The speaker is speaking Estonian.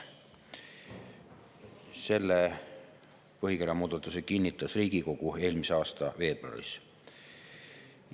Selle põhikirja muudatuse kinnitas Riigikogu eelmise aasta veebruaris.